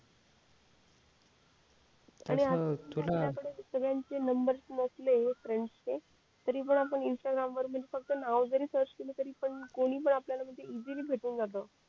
आणि आपल्या कळ सगळ्याचे नंबर्स नसले फ्रेंड्स चे तरी पण आपण इंस्टाग्राम वरती नाव जरी सर्च केलं तर कोणी पण आपल्याला इसय ली भेटून जात